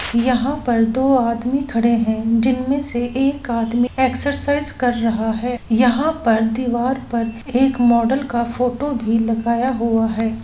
यहाँ पर दो आदमी खड़े है जिनमे से एक आदमी एक्सरसाइज कर रहा है यहाँ पर दिवार पर एक मॉडल का फोटो भी लगाया हुआ है।